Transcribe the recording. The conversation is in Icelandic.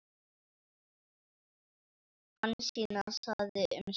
Hansína þagði um stund.